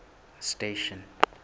station